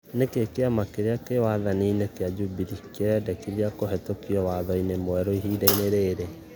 Nĩkĩĩ kĩama kĩrĩa kĩ wathanĩ- nĩ kĩa Jubilee kĩrendekĩthĩa kuhĩtũkio kwa watho mwerũ ihiĩdaĩnĩ rĩrĩ